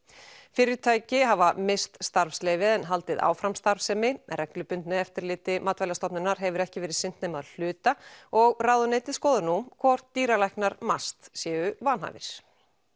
fyrirtæki hafa misst starfsleyfi en haldið áfram starfsemi reglubundnu eftirliti Matvælastofnunar hefur ekki verið sinnt nema að hluta og ráðuneytið skoðar nú hvort dýralæknar MAST séu vanhæfir